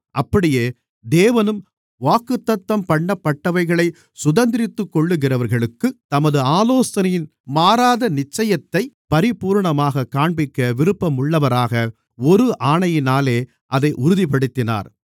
அப்படியே தேவனும் வாக்குத்தத்தம்பண்ணப்பட்டவைகளைச் சுதந்தரித்துக்கொள்ளுகிறவர்களுக்குத் தமது ஆலோசனையின் மாறாத நிச்சயத்தைப் பரிபூரணமாகக் காண்பிக்க விருப்பம் உள்ளவராக ஒரு ஆணையினாலே அதை உறுதிப்படுத்தினார்